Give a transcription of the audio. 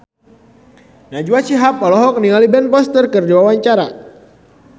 Najwa Shihab olohok ningali Ben Foster keur diwawancara